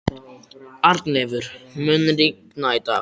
Arnleifur, mun rigna í dag?